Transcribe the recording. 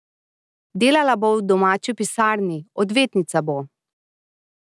Delala bo v domači pisarni, odvetnica bo.